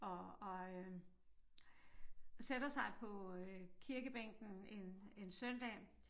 Og og øh sætter sig på øh kirkebænken en en søndag